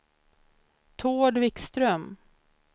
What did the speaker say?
Tord Vikström